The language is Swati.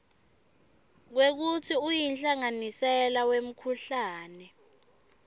kwekutsi uyihlanganisela wemkhuhlane